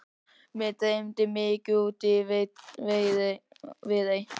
Mig dreymdi mikið út í Viðey.